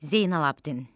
Zeynallabdin.